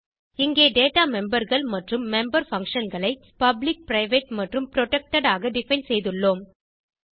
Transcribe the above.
இங்கே டேட்டா memberகள் மற்றும் மெம்பர் functionகளை பப்ளிக் பிரைவேட் மற்றும் புரொடெக்டட் ஆக டிஃபைன் செய்துள்ளோம்